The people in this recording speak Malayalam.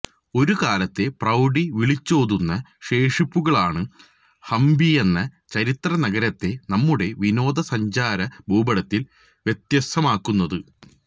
ഒരുകാലത്തെ പ്രൌഢി വിളിച്ചോതുന്ന ശേഷിപ്പുകളാണ് ഹംപിയെന്ന ചരിത്രനഗരത്തെ നമ്മുടെ വിനോദസഞ്ചാര ഭൂപടത്തില് വ്യത്യസ്തമാക്കുന്നത്